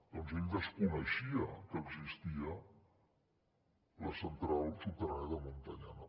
doncs ell desconeixia que existia la central subterrània de muntanyana